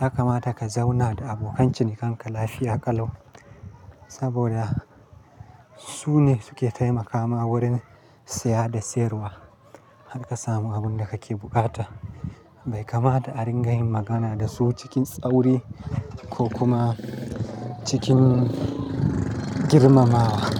ya kamata ka zauna da abokan cinikanka lafiya ƙalau. Saboda su ne su ke taimakama wurin siya da sayarwa, har ka samu abin da kake buƙata. Bai kamata a ringa yin magana da su cikin tsauri ko kuma cikin girmamawa.